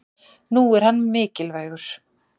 nú er hann mikilvægur